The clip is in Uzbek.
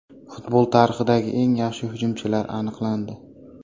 Futbol tarixidagi eng yaxshi hujumchilar aniqlandi.